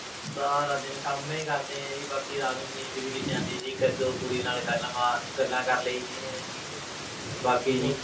ਸਾਰਾ ਦਿਨ ਕੰਮ ਹੀ ਕਰਦੇ ਹਾਂ ਜੀ ਬਾਕੀ ਰਾਤ ਨੂੰ ਨੀਂਦ ਵੀ ਕਿੱਥੇ ਆਉਂਦੀ ਹੈ ਜੀ ਕੁੜੀ ਨਾਲ ਗੱਲ ਮਾ~ ਗੱਲਾਂ ਕਰ ਲਈਦੀਆਂ ਜੀ ਬਾਕੀ ਜੀ